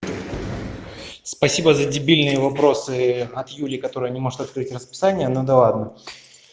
спасибо за дебильные вопросы от юли которая не может открыть расписание ну да ладно